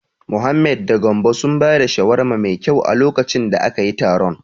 Mohammed da Gambo sun ba da shawara mai kyau a lokacin da akayi taron.